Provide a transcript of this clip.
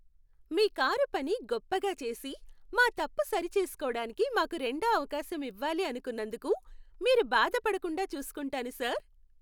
మీ car పని గొప్పగా చేసి, మా తప్పు సరిచేసుకోడానికి మాకు రెండో అవకాశం ఇవ్వాలి అనుకున్నందుకు, మీరు బాధపడకుండా చూసుకుంటాను సార్!